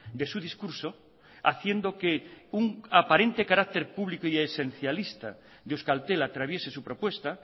de su discurso haciendo que un aparente carácter público y esencialista de euskaltel atraviese su propuesta